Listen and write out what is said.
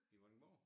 I Vordingborg